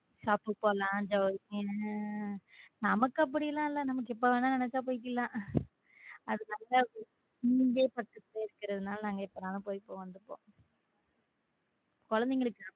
Shop போலாம் ஜவுள நமக்கு அப்படிலாம் இல்ல நமக்கு எப்பவுமே நினைச்சா போய்க்கலாம் அதனால இங்க இருக்கறதுனால நாங்க எப்ப வேணா போயிட்டு வந்துட்டோம குழந்தைகளுக்காக.